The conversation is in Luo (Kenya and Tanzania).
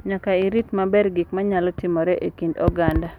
Nyaka orit maber gik ma nyalo timore e kind oganda.